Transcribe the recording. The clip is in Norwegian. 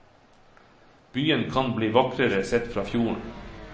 Byen kan bli vakrere sett fra fjorden.